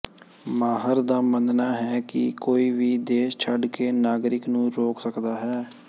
ਮਾਹਰ ਦਾ ਮੰਨਣਾ ਹੈ ਕਿ ਕੋਈ ਵੀ ਦੇਸ਼ ਛੱਡ ਕੇ ਨਾਗਰਿਕ ਨੂੰ ਰੋਕ ਸਕਦਾ ਹੈ